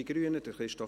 Ich mache es kurz.